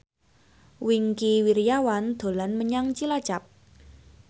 Wingky Wiryawan dolan menyang Cilacap